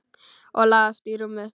Og lagðist í rúmið.